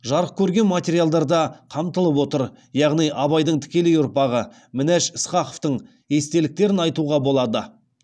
жарық көрген материалдар да қамтылып отыр яғни абайдың тікелей ұрпағы мінаш ысқақовтың естеліктерін айтуға болады